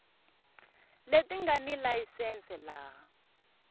leti nga ni layisense laha